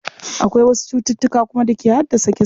Akwai wasu cututtuka kuma da ke haddasa kisa.